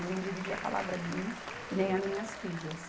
E nem dirigir a palavra a mim e nem a minhas filhas.